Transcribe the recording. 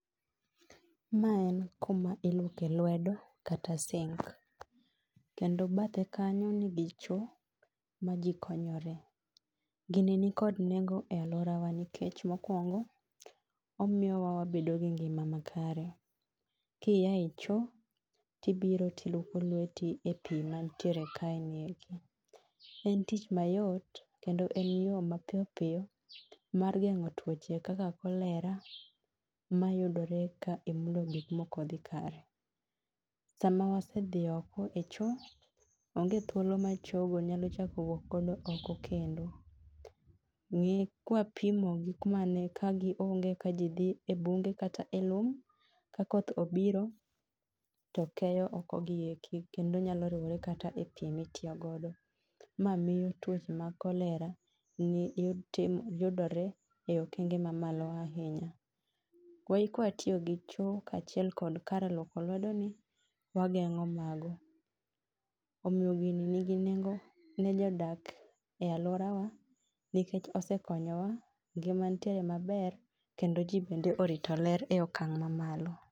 Ma en kuma iluoke lwedo kata sink. Kendo bathe kanyo nigi cho ma jii konyore. Gini nikod nengo e alwora wa nikech mokwongo, omiyowa wabedo gi ngima makare. Kiya e cho, tibiro tiluoko lweti e pii mantiere kaeni eki. En tich mayot kendo en yo mapiyopiyo, mar geng'o tuoche kaka cholera mayudore ka imulo gik mokodhi kare. Sama wase dhi iko e cho, onge thuolo ma chogo nyalo chak wuok oko kendo. Ng'i kwapimo gi kumane ka gionge ka jii dhi e bunge kata e lum, ka koth obiro, to keyo oko gi eki kendo nyalo riwore kata e pii mitiyo godo. Ma miyo tuoche mag cholera tim yudore e okenge mamalo ahinya. kwatiyo gi cho kachiel kod kar luoko lwedo ni, wageng'o mago. Omiyo gini nigi nengo ne jodak e alwora wa nikech osekonyowa, ngima nitiere maber. Kendo jii bende orito ler e okang' mamalo